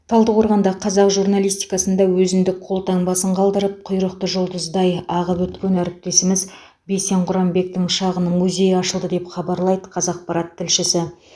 талдықорғанда қазақ журналистикасында өзіндік қолтаңбасын қалдырып құйрықты жұлдыздай ағып өткен әріптесіміз бейсен құранбектің шағын музейі ашылды деп хабарлайды қазақпарат тілшісі